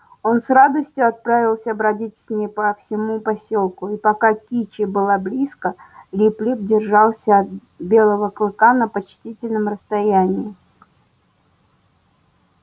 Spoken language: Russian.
он с радостью отправился бродить с ней по всему посёлку и пока кичи была близко лип лип держался от белого клыка на почтительном расстоянии